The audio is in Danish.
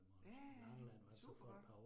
Ja ja ja, supergodt